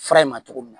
Fara in ma cogo min na